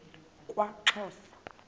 kwaxhosa